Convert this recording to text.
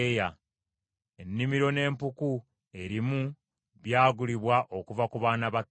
Ennimiro n’empuku erimu byagulibwa okuva ku baana ba Kesi.”